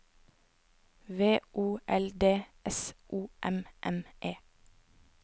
V O L D S O M M E